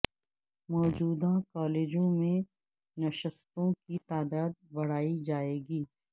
موجودہ کالجوں میں نشستوں کی تعداد بڑھائی جائے گی